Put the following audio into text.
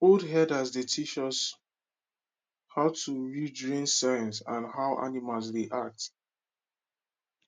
old herders dey teach us how to read rain sign and how animals dey act